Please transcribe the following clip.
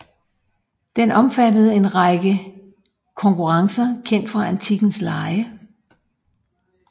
Den omfattede en række konkurrencer kendt fra antikkens lege